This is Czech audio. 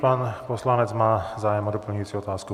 Pan poslanec má zájem o doplňující otázku.